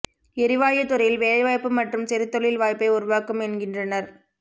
எரிவாயு துறையில் வேலைவாய்ப்பு மற்றும் சிறு தொழில் வாய்ப்பை உருவாக்கும் என்கின்றனர்